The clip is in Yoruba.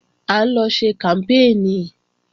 À ń lọ ṣe kàmpéènì